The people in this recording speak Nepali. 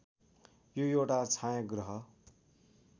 यो एउटा छायाग्रह